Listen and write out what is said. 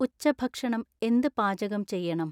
ഉച്ചഭക്ഷണം എന്ത് പാചകം ചെയ്യണം?